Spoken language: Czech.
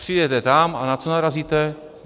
Přijedete tam a na co narazíte?